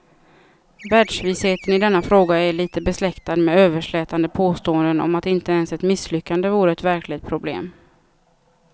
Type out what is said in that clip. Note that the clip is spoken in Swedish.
Världsvisheten i denna fråga är litet besläktad med överslätande påståenden om att inte ens ett misslyckande vore ett verkligt problem.